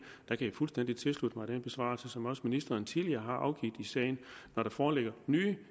jeg fuldstændig tilslutte mig den besvarelse som også ministeren tidligere har afgivet i sagen når der foreligger nye